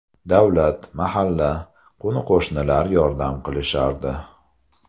Davlat, mahalla, qo‘ni-qo‘shnilar yordam qilishardi.